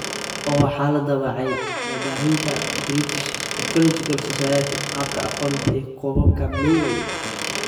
Oo waxaa la daabacay waabaahinta British Ecological Society - Qaabka Aqoonta iyo Kobaca (MEE).